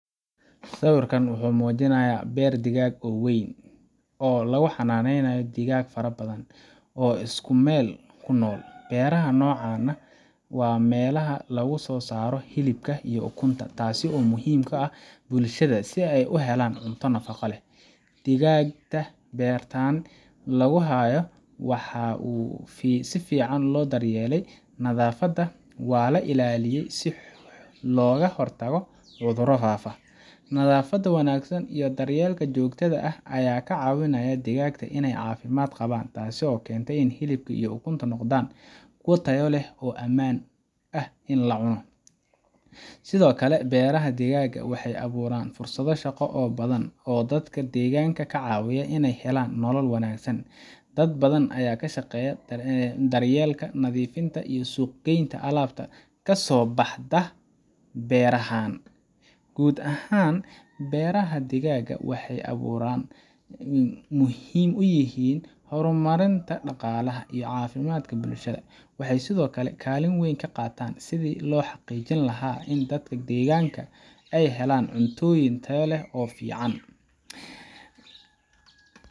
Sawirkan wuxuu muujinayaa beer digaag oo weyn, oo lagu xannaaneeyo digaag fara badan oo isku meel ku nool. Beeraha noocan ah waa meelaha lagu soo saaro hilibka iyo ukunta, taasoo muhiim u ah bulshada si ay u helaan cunto nafaqo leh. Digaagta beertan lagu hayo waxaa si fiican loo daryeelaa, nadaafaddana waa la ilaaliyaa si looga hortago cuduro faafa. Nadaafadda wanaagsan iyo daryeelka joogtada ah ayaa ka caawinaya digaagta inay caafimaad qabaan, taasoo keenta in hilibka iyo ukuntu noqdaan kuwo tayo leh oo ammaan ah in la cuno. Sidoo kale, beeraha digaagga waxay abuuraan fursado shaqo oo badan oo dadka deegaanka ka caawiya inay helaan nolol wanaagsan. Dad badan ayaa ka shaqeeya daryeelka, nadiifinta, iyo suuq-geynta alaabta ka soo baxda beerahan. Guud ahaan, beeraha digaagga waxay aburan muhiim u yihiin horumarinta dhaqaalaha iyo caafimaadka bulshada. Waxay sidoo kale kaalin weyn ka qaataan sidii loo xaqiijin lahaa in dadka deegaanka ay helaan cuntooyin tayo leh oo ku filan.